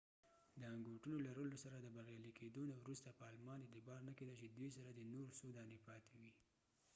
د انګوټونو لرلو سره د بریالی کېدو نه وروسته په آلمان اعتبار نه کېده چې دوي سره دي نور څو دانی پاتی وي